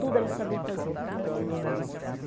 Tudo ela sabia fazer.